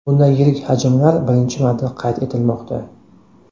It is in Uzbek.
Bunday yirik hajmlar birinchi marta qayd etilmoqda.